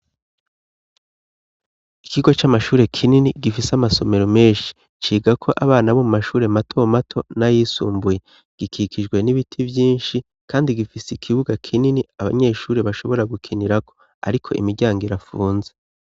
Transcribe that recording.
Ikigo c'amashure kinini gifise amasomero menshi, cigako abana bo mu mashure matomato n'ayisumbuye, gikikijwe n'ibiti vyinshi kandi gifise ikibuga kinini abanyeshure bashobora gukinirako, ariko imiryango irafunze.